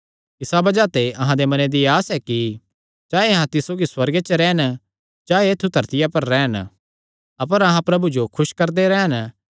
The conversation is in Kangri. इसा बज़ाह ते अहां दे मने दी आस एह़ ऐ कि चाहे अहां तिस सौगी सुअर्गे च रैह़न चाहे ऐत्थु धरतिया च रैह़न अपर अहां प्रभु जो खुस करदे रैह़न